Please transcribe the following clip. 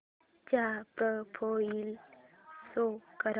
चा profile show कर